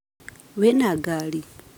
Wĩna ngari?